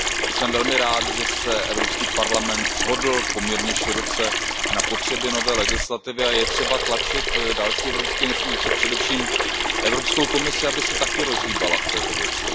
Jsem velmi rád, že se Evropský parlament shodl poměrně široce na potřebě nové legislativy, a je třeba tlačit další evropské instituce, především Evropskou komisi, aby se také rozhýbala v této věci.